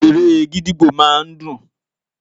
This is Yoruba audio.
Eré gídígbò máa ń dùn.